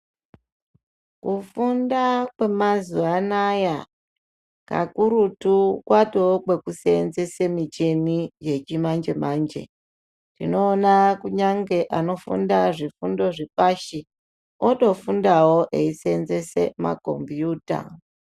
Kufunda kwemazuva anaya, kakurutu kwatove kwekuseenzese micheni yechimanje-manje. Tinoona kunyangwe anofunda zvifundo zvepashi otofundawo eiseenzese makhombiyuta.